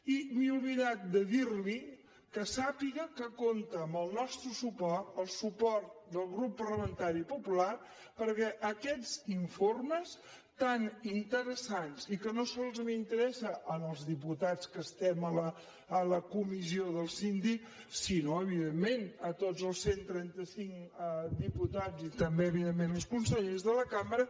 i m’he oblidat de dir li que sàpiga que compta amb el nostre suport el suport del grup parlamentari popular perquè aquests informes tan interessants i que no sols interessen als diputats que estem a la comissió del síndic sinó evidentment a tots els cent i trenta cinc diputats i també evidentment als consellers de la cambra